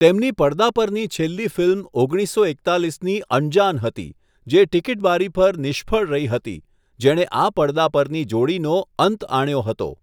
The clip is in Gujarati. તેમની પડદા પરની છેલ્લી ફિલ્મ ઓગણીસસો એકતાલીસની ફિલ્મ અંજાન હતી, જે ટિકીટ બારી પર નિષ્ફળ રહી હતી, જેણે આ પડદા પરની જોડીનો અંત આણ્યો હતો.